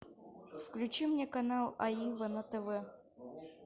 включи мне канал аива на тв